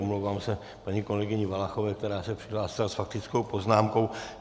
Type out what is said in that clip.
Omlouvám se paní kolegyni Valachové, která se přihlásila s faktickou poznámkou.